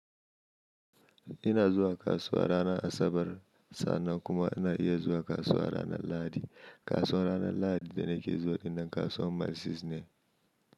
Ina zuwa kasuwa ranar Asabar, sannan kuma ina iya zuwa kasuwa ranar Lahadi. Kasuwar ranar Lahadi da nake zuwa dinnan kasuwar Mercies ne.